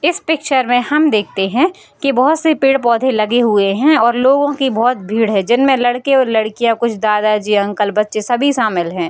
इस पिक्चर में हम देखते है कि बहुत से पेड़-पौधे लगे हुए हैं और लोगों की बहुत भीड़ है जिनमे लड़के और लड़कियां कुछ दादाजी अंकल बच्चे सभी शामिल है।